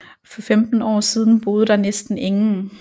For femten år siden boede der næsten ingen